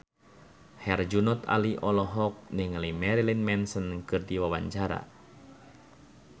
Herjunot Ali olohok ningali Marilyn Manson keur diwawancara